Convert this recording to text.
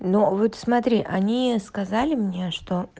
но вот смотри они сказали мне что